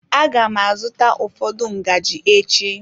Aga m azụta ụfọdụ ngaji echi.